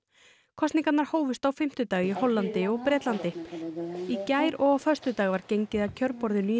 kosningarnar hófust á fimmtudag í Hollandi og Bretlandi í gær og á föstudag var gengið að kjörborðinu í